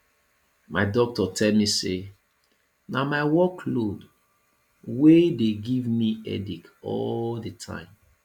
my doctor tell me say na my work load wey dey give me headache all the time